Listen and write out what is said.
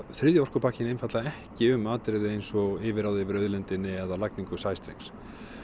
þriðji orkupakkinn einfaldlega ekki um atriði eins og yfirráð yfir auðlindinni eða lagningu sæstrengs